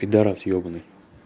пидарас ёбанный